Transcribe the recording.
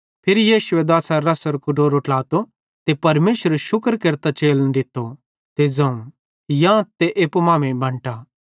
फिरी यीशुए दाछ़रे रसेरो कटोरो ट्लातो ते परमेशरेरू शुक्र केरतां चेलन दित्तो ते ज़ोवं यांथ ते एप्पू मांमेइं बंटा